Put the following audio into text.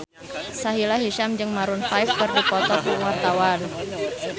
Sahila Hisyam jeung Maroon 5 keur dipoto ku wartawan